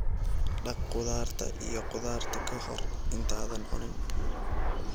Dhaq khudaarta iyo khudaarta ka hor intaadan cunin.